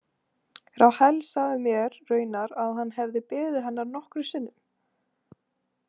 Rahel sagði mér raunar að hann hefði beðið hennar nokkrum sinnum.